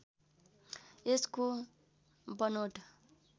यसको बनोट